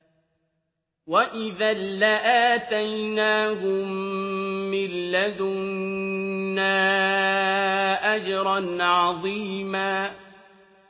وَإِذًا لَّآتَيْنَاهُم مِّن لَّدُنَّا أَجْرًا عَظِيمًا